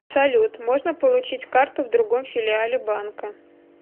салют можно получить карту в другом филиале банка